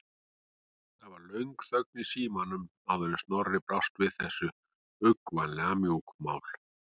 Það varð löng þögn í símanum áður en Snorri brást við þessu, uggvænlega mjúkmáll.